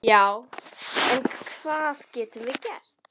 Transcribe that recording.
Já, en hvað getum við gert?